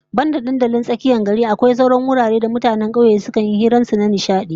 Banda dandalin tsakiyar gari, akwai sauran wuraren da mutanen kauye sukan yi hirarrakin su da nishadi